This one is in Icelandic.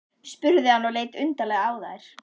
spurði hann og leit undarlega á þær.